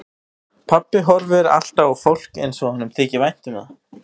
Pabbi horfir alltaf á fólk eins og honum þyki vænt um það.